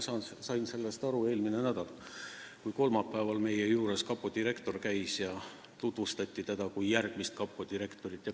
Ma sain sellest aru eelmine nädal, kui kolmapäeval käis meie juures kapo direktor ja teda tutvustati kui järgmist kapo direktorit.